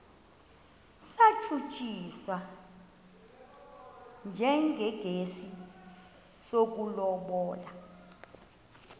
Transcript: satshutshiswa njengesi sokulobola